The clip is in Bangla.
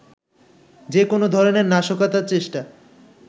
যে কোনো ধরনের নাশকতার চেষ্টা